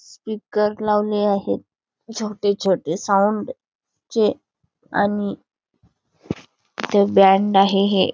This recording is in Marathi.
स्पीकर लावले आहेत छोटे छोटे साऊंड चे आणि बँड आहे हे|